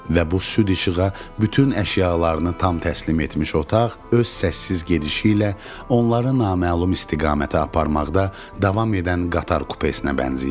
Və bu süd işığa bütün əşyalarını tam təslim etmiş otaq öz səssiz gedişi ilə onları naməlum istiqamətə aparmaqda davam edən qatar kupesinə bənzəyirdi.